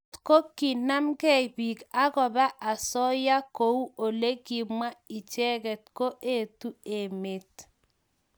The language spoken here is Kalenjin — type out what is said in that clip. kotko kinamei piik akoba asoya kou ole kimwaa icheket ko etu emet